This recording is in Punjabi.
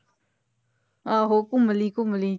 ਆਹੋ ਘੁੰਮ ਲਈ ਘੁੰਮ ਲਈ